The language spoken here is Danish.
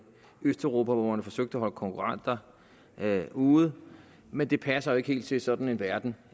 østeuropa hvor man forsøgte at holde konkurrenter ude men det passer jo ikke helt til sådan en verden